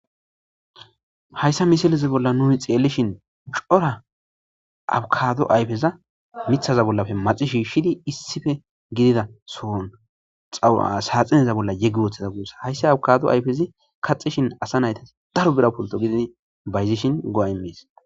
Hayissa missileza bolla nuni xelishshin cora abokaddo ayifezza miththaza bollappe maxi shishid issippe gidida so'onni saxinaza bolla yegi woththida gussa. Hayissa abikkado ayifezzi kaxishin asa nayitas daro bira pulto gididi bayizishshinn go'a imees.